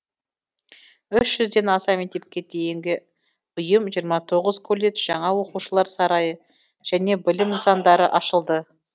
үш жүзден аса мектепке дейінгі ұйым жиырма тоғыз колледж жаңа оқушылар сарайы және білім нысандары ашылды